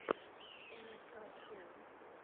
нск шоу